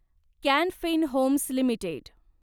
can Fin Homes limited